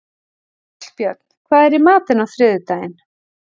Hallbjörn, hvað er í matinn á þriðjudaginn?